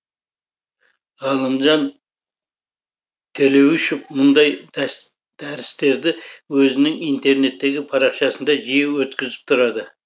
ғалымжан төлеуішов мұндай дәрістерді өзінің интернеттегі парақшасында жиі өткізіп тұрады